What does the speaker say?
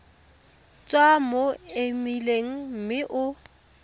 tswa mo emeileng mme o